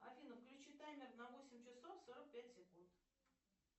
афина включи таймер на восемь часов сорок пять секунд